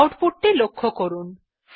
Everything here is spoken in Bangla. আউটপুট টি লক্ষ্য করুন